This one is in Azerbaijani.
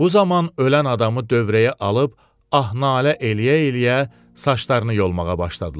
Bu zaman ölən adamı dövrəyə alıb, ah-nalə eləyə-eləyə saçlarını yolmağa başladılar.